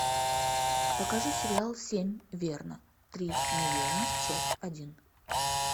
покажи сериал семь верно три неверно часть один